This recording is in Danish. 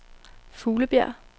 Fuglebjerg